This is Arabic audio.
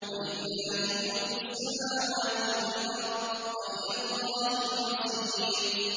وَلِلَّهِ مُلْكُ السَّمَاوَاتِ وَالْأَرْضِ ۖ وَإِلَى اللَّهِ الْمَصِيرُ